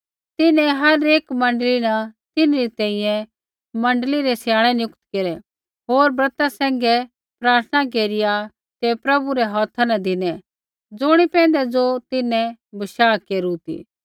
तिन्हैं हर एक मण्डली न तिन्हरी तैंईंयैं मण्डली रै स्याणै नियुक्त केरै होर ब्रता सैंघै प्रार्थना केरिया ते प्रभु रै हौथा न धिनै ज़ुणी पैंधै ज़ो तिन्हैं बशाह केरू ती